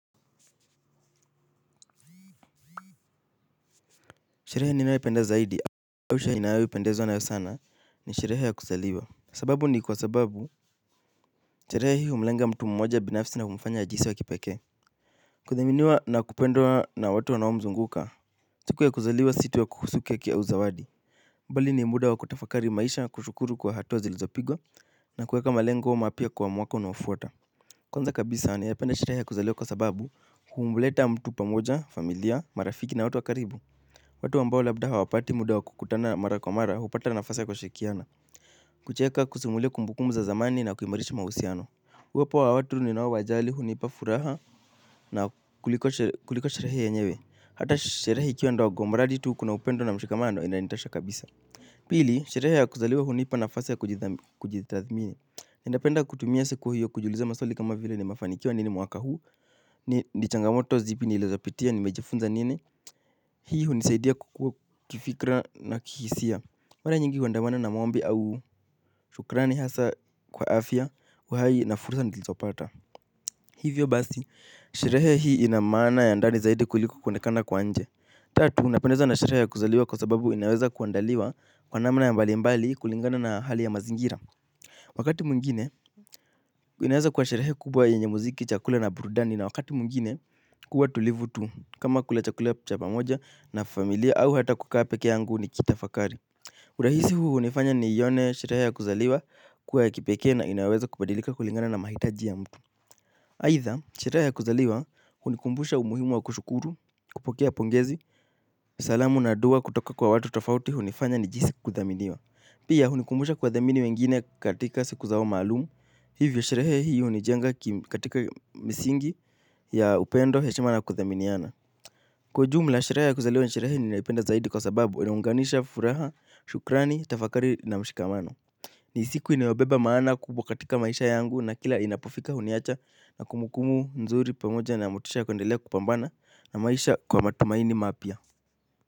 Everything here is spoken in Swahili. Sherehe ninayopenda zaidi awisha ninaawipendezo anayo sana ni shirehe ya kuzaliwa. Sababu ni kwa sababu sherehe hii umlenga mtu mmoja binafsi na kumufanya ajisi wa kipake. Kuthaminiwa na kupendwa na watu wanao mzunguka siku ya kuzaliwa si tu ya kuhusu keki au zawadi bali ni muda wa kutafakari maisha na kushukuru kwa hatua zilizopigwa na kuweka malengo mapya kwa mwaka unao fuata. Kwanza kabisa nayapenda sherehe ya kuzaliwa kwa sababu humleta mtu pamoja, familia, marafiki na watu wa karibu. Watu ambao labda hawapati muda wa kukutana mara kwa mara hupata nafasi ya kushikiana. Kucheka kusimulia kumbukumu za zamani na kuimarishi mahusiano. Uwepo wa watu ninawa wajali huniipa furaha. Na kuliko sherahe ya nyewe hata sherahe ikiwa ndawa gomaradi tu kuna upendo na mshikamano inalintasha kabisa. Pili sherehe ya kuzaliwe hunipa nafasa ya kujitathmini. Ninapenda kutumia siku hiyo kujiuliza maswali kama vile nimefanikiwa nini mwaka huu. Ni changamoto zipi nilizopitia nimejifunza nini. Hii hunisaidia kukua kifikra na kihisia. Mana nyingi huandamana na maombi au shukrani hasa kwa afya uhai na fursa nilizopata. Hivyo basi, sherehe hii ina maana ya ndani zaidi kuliko kuonekana kwa nje. Tatu, napendezwa na sherehe ya kuzaliwa kwa sababu inaweza kuandaliwa. Kwa namna ya mbali mbali kulingana na hali ya mazingira. Wakati mwingine, inaweza kuwa sherehe kubwa yenye muziki chakula na burudani. Na wakati mwingine, kuwa tulivu tu. Kama kula chakula cha pamoja na familia au hata kukaa peke yangu niki tafakari. Urahisi huu hunifanya nione sherehe ya kuzaliwa kuwa ya kipekee na inaweza kubadilika kulingana na mahitaji ya mtu aidha, sherehe ya kuzaliwa hunikumbusha umuhimu wa kushukuru, kupokea pongezi. Salamu na dua kutoka kwa watu tofauti hunifanya nijihisi kudhaminiwa. Pia hunikumbusha kuwadhamini wengine katika siku zao maalumu. Hivyo sherehe hii hunijenga katika misingi ya upendo heshima na kudhaminiana. Kwa ujumla sherehe ya kuzaliwa ni sherehe ninayoipenda zaidi kwa sababu inaunganisha furaha, shukrani, tafakari na mshikamano. Ni siku inayobeba maana kubwa katika maisha yangu na kila inapofika huniacha na kumbukumbu nzuri pamoja na motisha ya kuendelea kupambana na maisha kwa matumaini mapya.